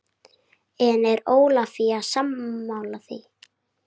En er Ólafía sammála því?